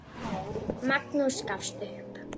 Magnús gafst upp.